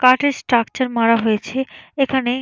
কাঠের স্ট্রাকচার মারা হয়েছে এখানে--